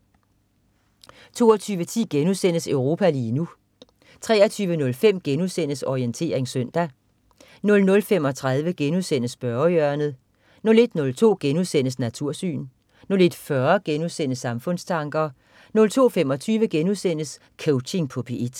22.10 Europa lige nu* 23.05 Orientering søndag* 00.35 Spørgehjørnet* 01.02 Natursyn* 01.40 Samfundstanker* 02.25 Coaching på P1*